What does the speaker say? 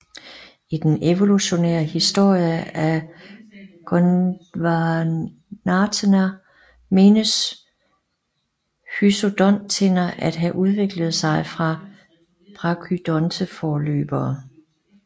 I den evolutionære historie af gondwanatherer menes hypsodonttænder at have udviklet sig fra brachydonte forløbere